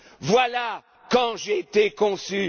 Voilà quand j'ai été